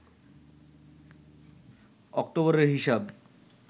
অক্টোবরের হিসাব